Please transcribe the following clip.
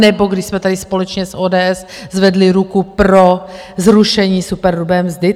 Nebo když jsme tady společně s ODS zvedli ruku pro zrušení superhrubé mzdy?